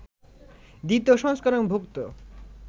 দ্বিতীয় সংস্করণ-ভুক্ত